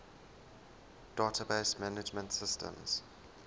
database management systems